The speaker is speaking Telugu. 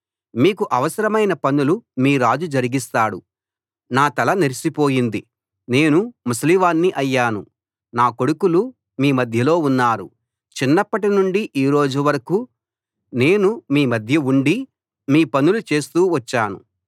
మీకు అవసరమైన పనులు మీ రాజు జరిగిస్తాడు నా తల నెరిసిపోయింది నేను ముసలివాణ్ణి అయ్యాను నా కొడుకులు మీ మధ్యలో ఉన్నారు చిన్నప్పటి నుండి ఈరోజు వరకూ నేను మీ మధ్య ఉండి మీ పనులు చేస్తూ వచ్చాను